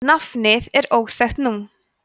nafnið er óþekkt nú